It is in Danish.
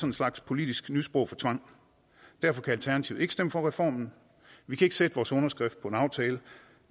en slags politisk nysprog for tvang derfor kan alternativet ikke stemme for reformen vi kan ikke sætte vores underskrift på en aftale